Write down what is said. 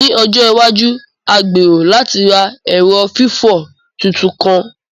Ni ọjọ iwaju, a gbero lati ra ẹrọ fifọ tuntun kan.